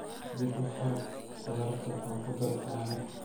dib u fur khudaarta oo ku dar caano